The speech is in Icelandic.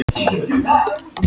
Flutti inn notuð reiðtygi